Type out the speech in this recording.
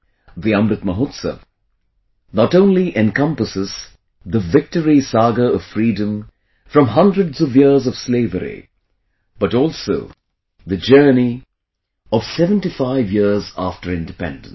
The Amrit Mahotsav not only encompasses the victory saga of freedom from hundreds of years of slavery, but also the journey of 75 years after independence